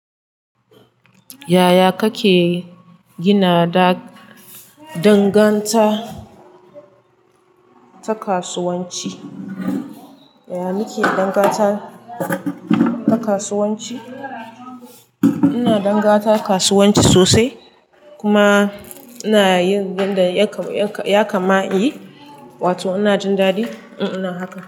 Yaya kake gina dangantaka ta kasuwanci? Yaya muke dangantaka ta kasuwanci? Ina dangantaka kasuwanci sosai. Kuma ina yin abin da ya kama yi, wato ina jin daɗi in ina haka.